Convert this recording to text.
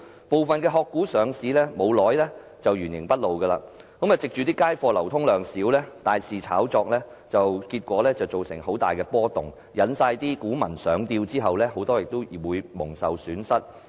部分"殼股"上市不久就原形畢露，藉街貨流通量少而大肆炒作，結果造成很大波動，引股民上釣，很多人亦因而蒙受損失。